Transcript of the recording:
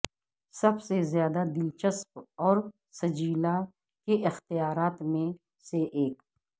سب سے زیادہ دلچسپ اور سجیلا کے اختیارات میں سے ایک